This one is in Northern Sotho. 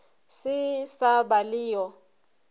se sa ba le yo